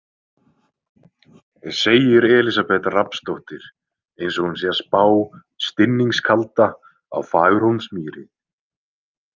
Segir Elísabet Rafnsdóttir eins og hún sé að spá stinningskalda á Fagurhólmsmýri.